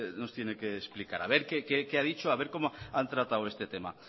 nos tiene que explicar haber qué a dicho haber cómo han tratado este tema